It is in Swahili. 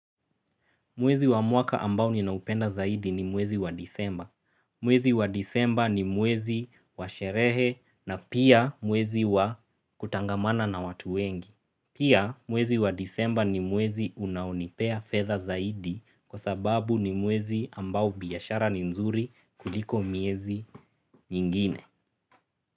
Mwezi wa mwaka ambao ninaupenda zaidi ni mwezi wa disemba. Mwezi wa disemba ni mwezi wa sherehe na pia mwezi wa kutangamana na watu wengi. Pia mwezi wa disemba ni mwezi unaonipea fedha zaidi kwa sababu ni mwezi ambao biashara ni nzuri kuliko miezi nyingine.